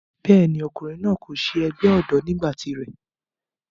bẹ́ẹ̀ni, ọkùnrin náà kò se ẹgbẹ́ ọ̀dọ́ nígbà tiré